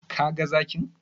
Ka ga zakin?